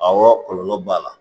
Awɔ kɔlɔlɔ b'a la